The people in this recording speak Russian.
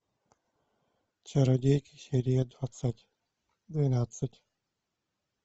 чародейки серия двадцать двенадцать